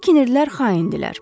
Bu kinirlər xaindirlər.